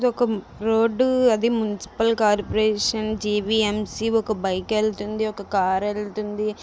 ఇది ఒక రోడ్డు . అది మున్సిపల్ కార్పొరేషన్ జీ_వి_ఎం_సి ఒక బైక్ ఏళ్తుంది. ఒక కార్ ఏళ్తుంది.